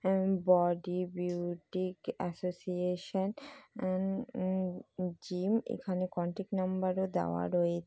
Health body boutique association and gym এখানে contact number -ও দেওয়া রয়েছে।